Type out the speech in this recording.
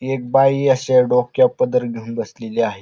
एक बाई अशी डोक्यावर पदर घेऊन बसलेली आहे.